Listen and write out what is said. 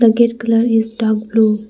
The gate colour is dark blue.